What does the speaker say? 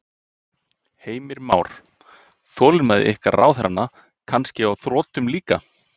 Heimir Már: Þolinmæði ykkar ráðherranna kannski á þrotum líka?